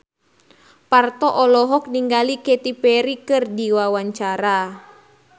Parto olohok ningali Katy Perry keur diwawancara